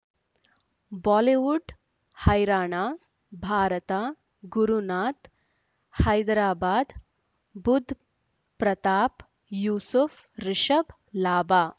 Bollywood ಹೈರಾಣ ಭಾರತ ಗುರುನಾಥ ಹೈದರಾಬಾದ್ ಬುಧ್ ಪ್ರತಾಪ್ ಯೂಸುಫ್ ರಿಷಬ್ ಲಾಭ